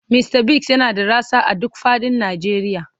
Mista Biggs yana da rassa a duk fadin Najeriya.